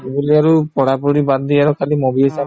বোলে আৰু পঢ়া পঢ়ি বাদ দি আৰু খালি movie য়ে চাম